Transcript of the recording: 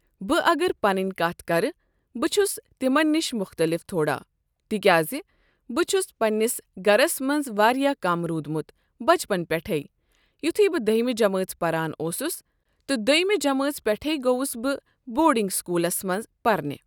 بہٕ اگر پنٕنۍ کتھ کرٕ بہٕ چھُس تِمن نِش مختلف تھوڑا تِکیازِ بہٕ چھُس پننِس گرس منٛز واریاہ کم روٗدمُت بچپن پٮ۪ٹھٕے یُتھُے بہٕ دٲہِمہ جمٲژ پران اوسُس تہٕ دۄیٛمہِ جمٲژ پٮ۪ٹھٕے گوٚوُس بہٕ بورڈنٛگ سکوٗلَس منٛز پرنہِ۔